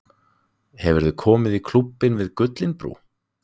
Hefurðu komið í Klúbbinn við Gullinbrú?